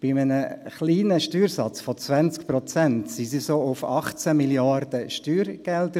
Bei einem kleinen Steuersatz von 20 Prozent kamen sie auf 18 Mrd. Franken an Steuergeldern.